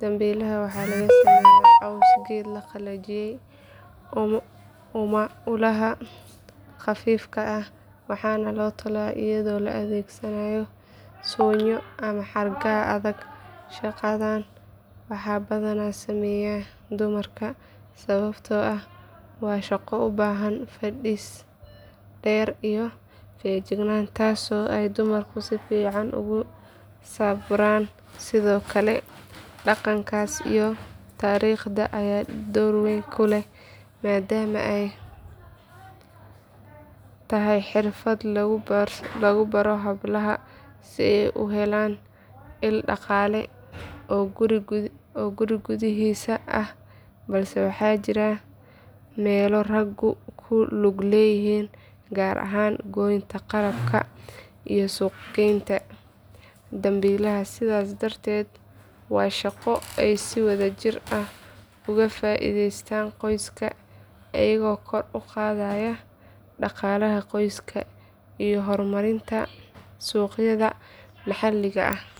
dambiilaha waxaa laga sameeyaa caws geed la qalajiyay ama ulaha khafiifka ah waxaana la tolaa iyadoo la adeegsanayo suunyo ama xargaha adag shaqadan waxaa badanaa sameeya dumarka sababtoo ah waa shaqo u baahan fadhis dheer iyo feejignaan taasoo ay dumarku si fiican ugu sabraan sidoo kale dhaqanka iyo taariikhda ayaa door weyn ku leh maadaama ay tahay xirfad lagu baro hablaha si ay u helaan il dhaqaale oo guri gudihiisa ah balse waxaa jira meelo raggu ku lug leeyihiin gaar ahaan goynta qalabka iyo suuqgeynta dambiilaha sidaas darteed waa shaqo ay si wadajir ah uga faa’iideystaan qoysaska iyagoo kor u qaadaya dhaqaalaha qoyska iyo horumarinta suuqyada maxalliga ah.